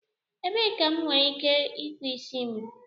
Ebee ka m nwere ike ịkpụ isi m?